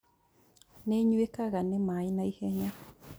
Nĩĩnyuĩkaga nĩ maĩ naihenya